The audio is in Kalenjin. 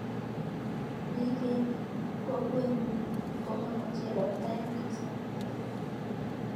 Biik eng kokwenyu komamochei ropta eng kasaratak.